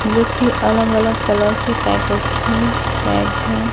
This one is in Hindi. जो की अलग अलग कलर के पैकेट में पैक्ड है।